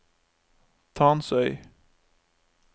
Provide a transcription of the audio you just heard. Tansøy